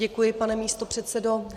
Děkuji, pane místopředsedo.